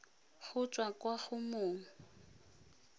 go tswa kwa go mong